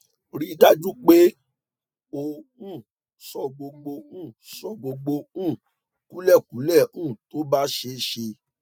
rí i dájú pé o um sọ gbogbo um sọ gbogbo um kúlèkúlè um tó bá ṣeé ṣe